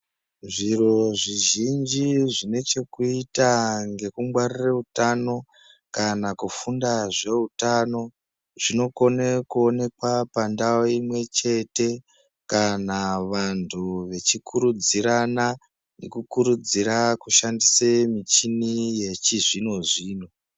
Zviro zvizhinji zvine chekuita ngekungwarire utano kana kufunda zveutano zvinokone kuonekwa pandau imwechete kana vantu vachikurudzirana nekukurudzira kushandise michini yechizvino-zvino.